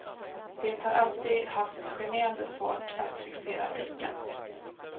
Det har alltid haft generande svårt att fixera blicken.